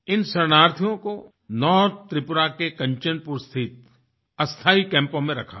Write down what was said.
इन शरणार्थियों कोNorth त्रिपुरा के कंचनपुर स्थित अस्थाई कैम्पों में रखा गया